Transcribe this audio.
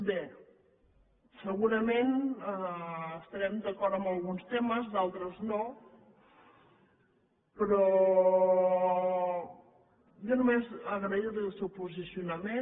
bé segurament estarem d’acord en alguns temes d’altres no però jo només agrair li el seu posicionament